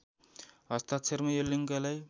हस्ताक्षरमा यो लिङ्कलाई